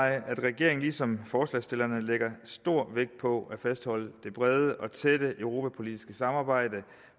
at regeringen ligesom forslagsstillerne lægger stor vægt på at fastholde det brede og tætte europapolitiske samarbejde